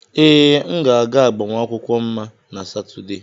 Ee, m ga-aga agbamakwụkwọ Mma na Satọde.